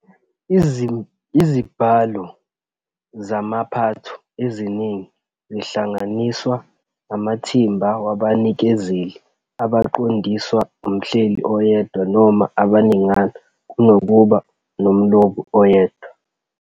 Izibhalo zamaphatho eziningi zihlanganiswa amathimba wabanikezeli abaqondiswa umhleli oyedwa noma abaningana, kunokuba nomlobi oyedwa.